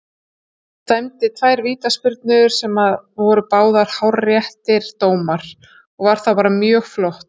Dæmdi tvær vítaspyrnur sem að voru báðir hárréttir dómar og var bara mjög flottur.